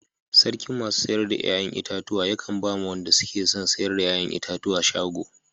Sarkin masu sayar da yayan itatuwa be kan ba ma wande suke son sayar da yayan itatuwa shago.